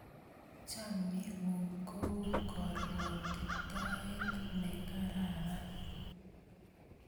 Chamyengung ko u karuatitoet ne kararan